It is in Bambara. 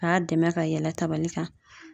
A y'a dɛmɛ ka yɛlɛ tabali kan